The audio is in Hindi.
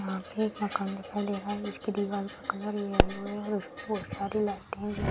यहाँ पे एक मकान दिखाई दे रहा है जिसकी दीवाल का कलर येलो है और उसपे बहुत सारी लाइटे है लगी।